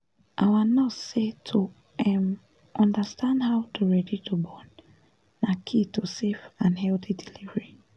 our nurse say to um understand how to ready to born na key to safe and healthy delivery